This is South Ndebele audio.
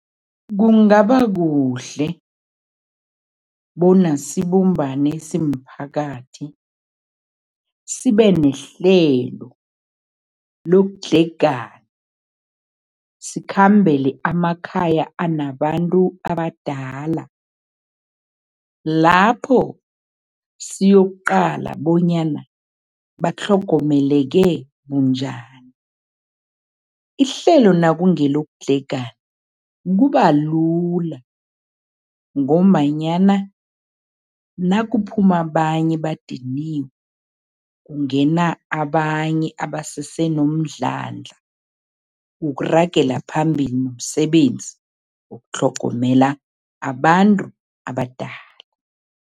Kungaba kuhle bona sibumbane simphakathi, sibe nehlelo lokudlhegana, sikhambele amakhaya anabantu abadala, lapho siyokuqala bonyana batlhogomeleke bunjani. Ihlelo nakungelokudlhegana, kuba lula ngombanyana nakuphuma abanye badiniwe, kungena abanye abasese nomdlandla wokuragela phambili nomsebenzi wokutlhogomela abantu abadala.